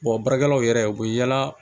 baarakɛlaw yɛrɛ u bɛ yaala